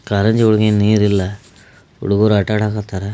ಕಾರಂಜಿ ಒಳಗೆ ನೀರಿಲ್ಲ ಹುಡುಗರೂ ಆಟ ಆಡಕತ್ತರ್.